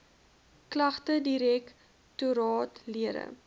klagtedirek toraat lede